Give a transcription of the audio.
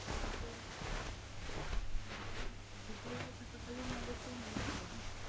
বিদ্যালয়ে থাকাকালীন অবস্থায় মনে হতো,